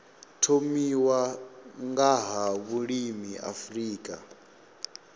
thomiwa nga ha vhulimi afrika